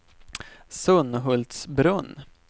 Sunhultsbrunn